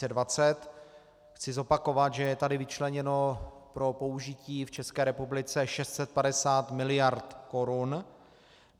Chci zopakovat, že je tady vyčleněno pro použití v České republice 650 mld. korun.